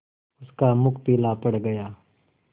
उसका मुख पीला पड़ गया